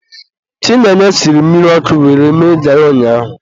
Chinenye siri mmiri ọkụ were mee garị ụnyaahụ.